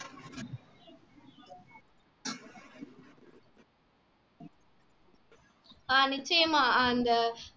ஆஹ் நிச்சயமா ஆஹ் அந்த